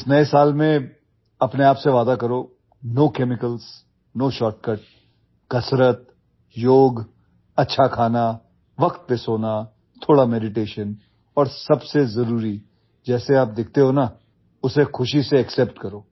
इस नए साल में अपने आप से वादा करो नो केमिकल्स नो शॉर्टकट कसरत योग अच्छा खाना वक्त पर सोना थोड़ा मेडिटेशन और सबसे जरूरी जैसे आप दिखते हो ना उसे खुशी से एक्सेप्ट करो